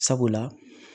Sabula